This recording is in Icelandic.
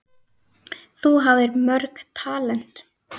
Þú hafðir mörg talent.